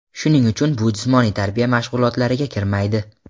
Shuning uchun bu jismoniy tarbiya mashg‘ulotlariga kirmaydi.